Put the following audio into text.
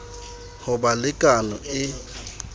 ho ba le kano e